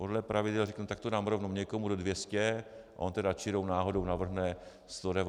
Podle pravidel řeknu, tak to dám rovnou někomu do 200, a on tedy čirou náhodou navrhne 199 900 Kč bez DPH.